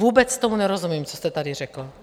Vůbec tomu nerozumím, co jste tady řekl.